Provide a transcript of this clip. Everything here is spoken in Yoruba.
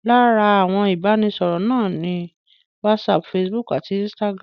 Lára àwọn ibi ìbánisọ̀rọ̀ náà ni Whatsapp, Facebook àti Instagram